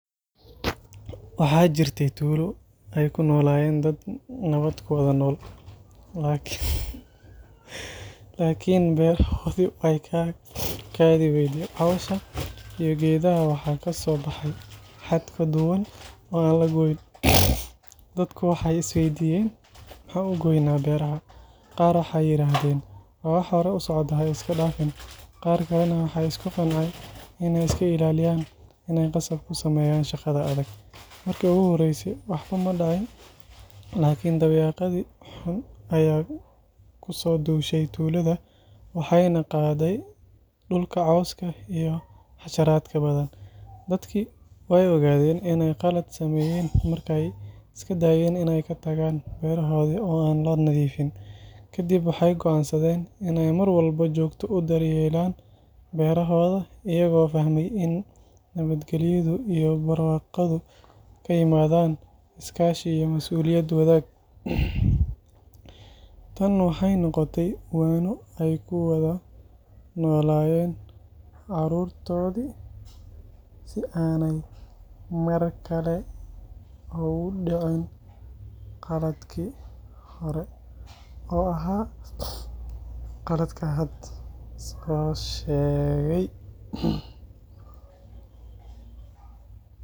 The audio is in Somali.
Waxaa jiirte tuulo ay ku noolayeen dad nabaad kuwada nool laakin laakin beerahooda eykaa kaadi weysee coows aah iyo geedaha waxaa kasoo baxaay xad kaduuwan inn laga weydiiyo dadka waxaay isweydiyaan maxaan ugooyna beeraha qaar waxaay yiraahdeen waa wax horaay socde haiska daafin qaar badaan waxaay isku qanceen inaay iska ilaliyaan inaay qasab iskuilaliyaan ineey qasaab kuu sameyaan shaqaada adaag. maarki ogu horeeyse waxbaa maa diciin lakiin dawaa yaqaadi ayee kusoo duushe tulaada waxeynaa qaaday dhulkaa coowska iyo casharaatka badaan. daadki wey ogaaden ineey qalaad sameyen markeey iskaa daayen ineey kaa tagaan berahoodi oo aan laa nadhiifin. kadiib waxeey goansaaden inii marwalboo jogtaa uu daryelaan berahooda iyaago fahmay iin nabaad galyaada iyo barwaqaada kaa imaadan iskaa shiiga masuuliyadeda wadaag. taan waxeey noqotaay waano eykuu wadaa noladaan carurtoodi sii anaay maar kalee loguu diciin qaladkii hoore oo ahaa qalaadka haada sidaan shegaay.